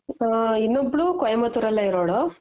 ಹ ಇನ್ನೊಬ್ಳು ಕೊಯಿಮತ್ತುರ್ ಅಲ್ಲೆ ಇರೋಳು.